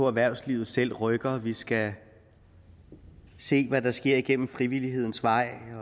erhvervslivet selv rykker at vi skal se hvad der sker gennem frivillighedens vej